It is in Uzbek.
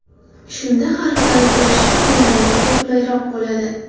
Shunda harflarni terishda qo‘llaringizga qulayroq bo‘ladi.